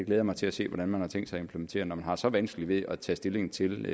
jeg mig til at se hvordan man har tænkt sig at implementere når man har så vanskeligt ved at tage stilling til